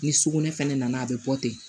Ni sugunɛ fɛnɛ nana a bɛ bɔ ten